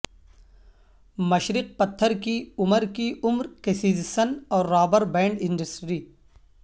مشرق پتھر کی عمر کی عمر کسزسن اور رابر بینڈ انڈسٹری